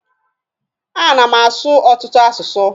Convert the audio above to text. A na m asụ ọtụtụ asụsụ.